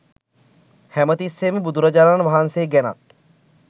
හැමතිස්සේම බුදුරජාණන් වහන්සේ ගැනත්